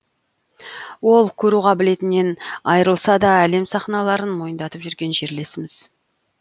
ол көру қабілетінен айырылса да әлем сахналарын мойындатып жүрген жерлесіміз